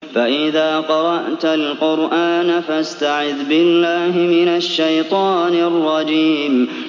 فَإِذَا قَرَأْتَ الْقُرْآنَ فَاسْتَعِذْ بِاللَّهِ مِنَ الشَّيْطَانِ الرَّجِيمِ